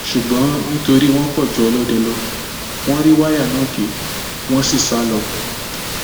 ṣùgbọn nítorí wọn pọ ju ọlọdẹ lọ wọn rí wáyà náà gé wọn sì sá lọ